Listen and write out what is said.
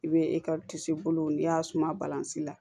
I bɛ n'i y'a suma balansi la